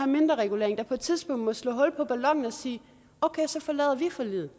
mindreregulering der på et tidspunkt må slå hul på ballonen og sige at så forlader de forliget